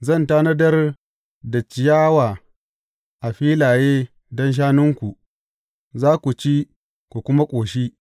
Zan tanadar da ciyawa a filaye don shanunku, za ku ci, ku kuma ƙoshi.